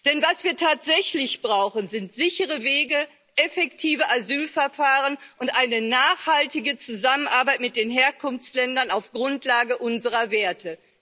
Denn was wir tatsächlich brauchen, sind sichere Wege, effektive Asylverfahren und eine nachhaltige Zusammenarbeit mit den Herkunftsländern auf Grundlage unserer Werte.